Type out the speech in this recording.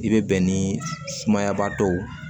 I bɛ bɛn ni sumaya ba dɔw ye